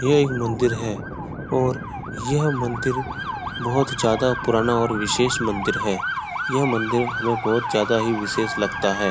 यह एक मंदिर है और यह मंदिर बहुत ज्यादा पुराना और विशेष मंदिर है। यह मंदिर हमें बहुत ही ज्यादा ही विशेष लगता है।